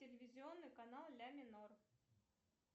телевизионный канал ля минор